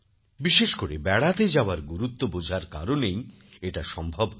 বিশেষ করে বেড়াতে যাওয়ার গুরুত্ব বোঝার কারণেই এটা সম্ভব হয়েছে